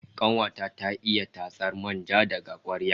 Kanuwa ta ta iya tatsar manja daga kwakwar